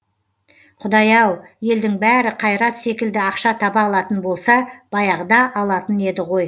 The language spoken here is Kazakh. құдай ау елдің бәрі қайрат секілді ақша таба алатын болса баяғыда алатын еді ғой